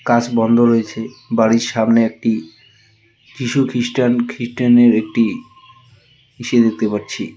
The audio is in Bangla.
কাজ বন্ধ রয়েছে বাড়ির সামনে একটি যিশুখ্রিস্টান খ্রিস্টানের একটি ইসে দেখতে পারছি ।